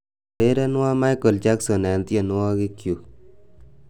urerenwon Michael Jackson eng tienywogikyuk